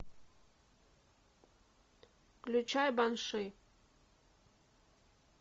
включай банши